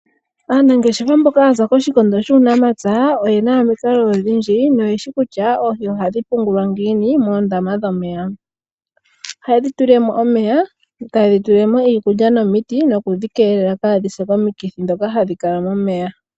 Aanangeshefa mboka yaza koshikondo shuunamapya oyena omikalo odhindji noyeshi kutya oohi ohadhi pungulwa ngiini moondama dhomeya. Ohaye dhi tulilemo omeya etayi dhi tulilemo iikulya nomiti nokudhi keelela kadhise komikithi ndhoka hadhi kala momeya .